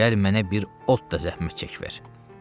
Gəl mənə bir ot da zəhmət çək ver.